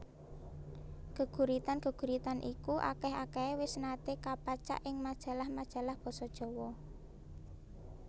Geguritan geguritan iku akeh akehe wis nate kapacak ing majalah majalah basa Jawa